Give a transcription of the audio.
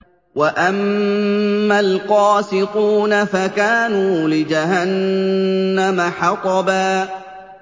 وَأَمَّا الْقَاسِطُونَ فَكَانُوا لِجَهَنَّمَ حَطَبًا